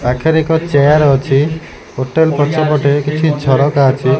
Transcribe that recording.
ପାଖେରେ ଏକ ଚେୟାର ଅଛି ହୋଟେଲ୍ ପଛ ପଟେ କିଛି ଝରକା ଅଛି।